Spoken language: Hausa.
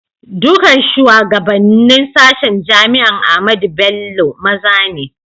Dukan shugabanen sashen jami'an Ahmadu Bello maza ne.